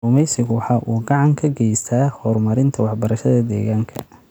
Kalluumaysigu waxa uu gacan ka geystaa horumarinta waxbarashada deegaanka.